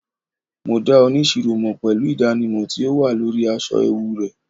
ma da onisiro mo pelu idanimọ ti o wa lori aṣọ ẹwu rẹ